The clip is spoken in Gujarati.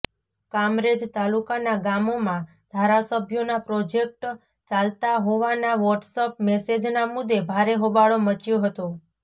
કામરેજ તાલુકાના ગામોમાં ધારાસભ્યોના પ્રોજેક્ટ ચાલતા હોવાના વોટસઅપ મેસેજના મુદ્દે ભારે હોબાળો મચ્યો હતો